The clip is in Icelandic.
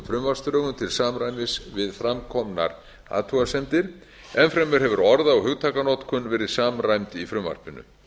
frumvarpsdrögum til samræmis við framkomnar athugasemdir enn fremur hefur orða og hugtakanotkun verðið samræmd í frumvarpinu